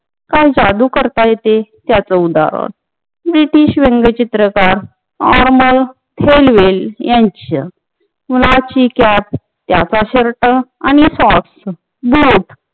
काय जादु करता येते त्याच उदाहरण ब्रिटिश व्यंगचित्रकीर नाँर्मन थेलवेल यांचे कुणाची कँप याचा शर्ट आणि टाँप जेट